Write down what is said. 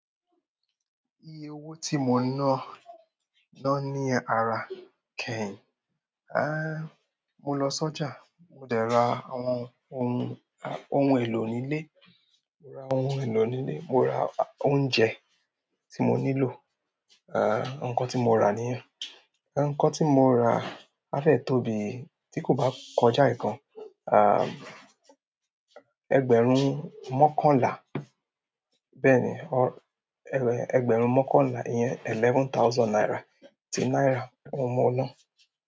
Iye owó tí mo ná, ná ní ara kẹ́yìn. Aá, mo lọ sọ́jà. Mo dẹ̀ ra àwọn ohun, ohun èlò nílé. Mo ra ohun èlò nílé, mo ra oúnjẹ tí mo nílò. À, ǹkan tí mo rà nìyẹn. Ǹkan tí mo rà á fẹ́ẹ̀ tó bíi, tí kò bá kọjá ẹ̀ gan, à, ẹgbẹ̀rún mọ́kànlá. Bẹ́ẹ̀ ni, ẹgbẹ̀rún mọ́kànlá, ìyẹn eleven thousand naira, ti náírà òun mo ná.